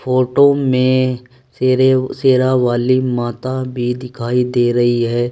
Photo में शेरे शेरावाली माता भी दिखाई दे रही है।